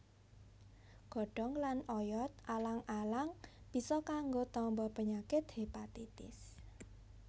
Godhong lan oyot alang alang bisa kanggo tamba penyakit hépatitis